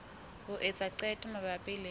ho etsa qeto mabapi le